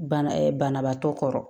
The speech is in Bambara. Bana banabaatɔ kɔrɔ